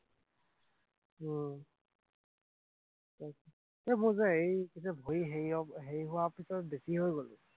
উম তাৰপিছত মোৰ যে এইটো যে ভৰি হেৰিয় হেৰি হোৱাৰ পিছত বেছি হৈ গল।